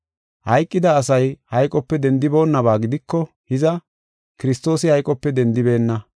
Hayqida asay hayqope dendiboonaba gidiko hiza, Kiristoosi hayqope dendibeenna.